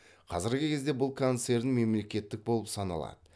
қазіргі кезде бұл концерн мемлекеттік болып саналады